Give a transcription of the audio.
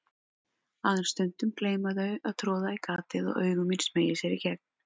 Aðeins stundum gleyma þau að troða í gatið og augu mín smeygja sér í gegn.